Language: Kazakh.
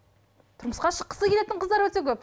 тұрмысқа шыққысы келетін қыздар өте көп